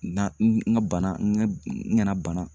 Na n ka bana n kana bana